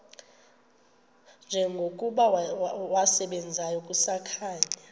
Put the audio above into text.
njengokuba wasebenzayo kusakhanya